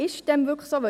Ist dem wirklich so?